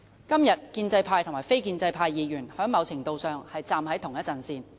今天建制派和非建制派議員在某程度上是站在同一陣線。